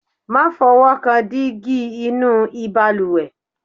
má fọwọ́kan dígí inú ìbalùwẹ̀